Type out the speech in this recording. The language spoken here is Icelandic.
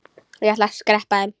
Ég ætla að skreppa heim.